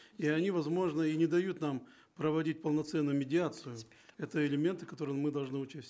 и они возможно и не дают нам проводить полноценную медиацию это элементы которые мы должны учесть